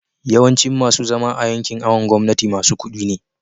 yawancin masu zama a yankin awon gomnati masu kudi ne